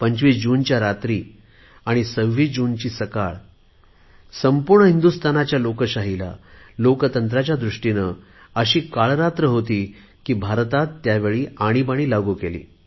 25 जून च्या रात्री आणि 26 ची सकाळ संपूर्ण हिंदूस्थानाच्या लोकशाहीसाठी अशी काळी रात्र होती की भारतात त्यावेळी आणीबाणी लागू केली